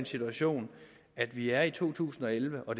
situation at vi er i to tusind og elleve og